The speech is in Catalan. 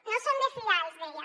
no són de fiar els deia